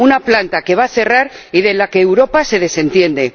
De una planta que va a cerrar y de la que Europa se desentiende.